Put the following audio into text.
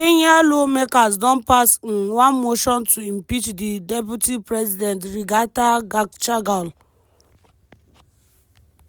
kenyan lawmakers don pass um one motion to impeach di deputy president rigathi gachagua.